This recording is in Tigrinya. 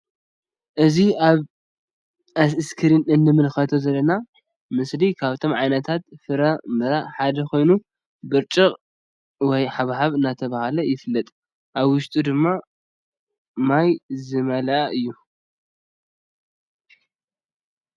እዚ አብ እስክሪን እንምልከቶ ዘለና ምስሊ ካብቶም ዓይነታት ፍረ ምረ ሓደ ኮይኑ ብርጭቅ ወም ሃባብ እንዳ ተብሃለ ይፍለጥ::አብ ውሽጡ ድማ ማይ ዝመለአ እዩ::